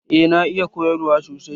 Eh na iya koyarwa sosai.